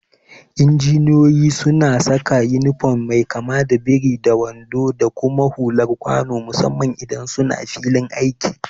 Injiniyoyi suna saka inifom mai kama da biri da wando da kuma hulan kwano musamman idan suna filin aiki.